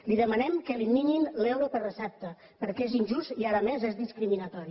li demanem que eliminin l’euro per recepta perquè és injust i a més és discriminatori